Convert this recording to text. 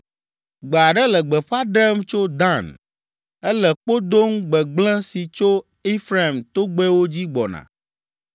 Gbe aɖe le gbeƒã ɖem tso Dan. Ele kpo dom gbegblẽ si tso Efraim togbɛwo dzi gbɔna.